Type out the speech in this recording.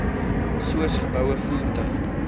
soos geboue voertuie